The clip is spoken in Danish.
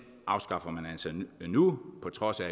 afskaffer man altså nu på trods af